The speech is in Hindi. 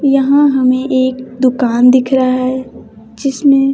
यहां हमें एक दुकान दिख रहा है जिसमें--